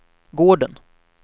gården